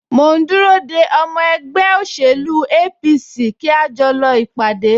Mò ń dúró de ọmọ ẹgbẹ́ òṣèlú APC kí a lè jọ lọ ìpàdé